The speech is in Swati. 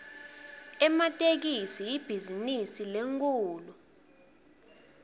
ematekisi ibhizinisi lenkhulu